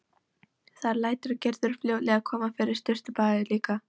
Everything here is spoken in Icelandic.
Þar lætur Gerður fljótlega koma fyrir sturtubaði líka.